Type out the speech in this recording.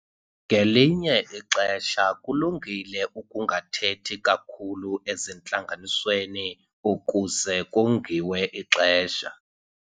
Ngelinye ixesha kulungile ukungathethi kakhulu ezintlanganisweni ukuze kongiwe ixesha.